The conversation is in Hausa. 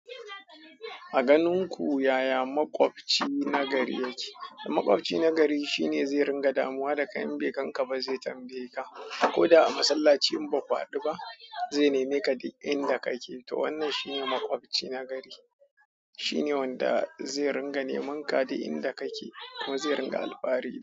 A ganin ku yaya makwabci nagari yake? Makwabci nagari shine zai ringa damuwa da kai in bai gaka ka ba, zai tambaye ka. Ko da a masallaci in ba ku haɗu ba, zai neme ka duk inda kake. To wannan shine makwabci nagari. Shine wanda zai ringa neman ka duk inda kake kuma zai ringa alfahari da.